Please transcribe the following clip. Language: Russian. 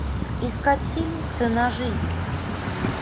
искать фильм цена жизни